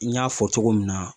N y'a fɔ cogo min na